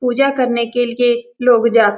पूजा करने के लिए लोग --